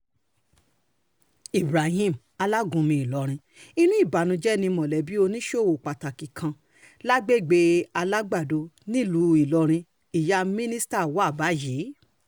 ibrahim alágúnmu ìlọrin inú ìbànújẹ́ ni mọ̀lẹ́bí oníṣòwò pàtàkì kan lágbègbè alágbàdo nílùú ìlọrin ìyá míṣírà wa báyìí